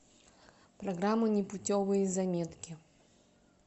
программа непутевые заметки